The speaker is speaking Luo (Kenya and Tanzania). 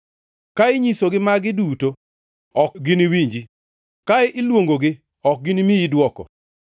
“Ka inyisogi magi duto, ok giniwinji; ka iluongogi, ok gini miyi dwoko.